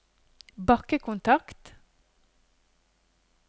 bakkekontakt